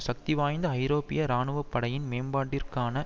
சக்தி வாய்ந்த ஐரோப்பிய இராணுவப்படையின் மேம்பாட்டிற்கான